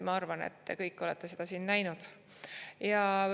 Ma arvan, et te kõik olete seda siin näinud.